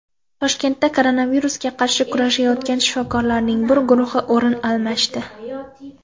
Toshkentda koronavirusga qarshi kurashayotgan shifokorlarning bir guruhi o‘rin almashdi.